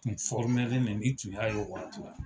Kun don , ni kun y'a ye o waati.